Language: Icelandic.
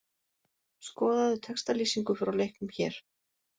Skoðaðu textalýsingu frá leiknum hér